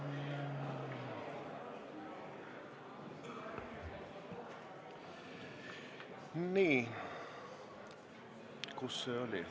Kohaloleku kontroll Nii.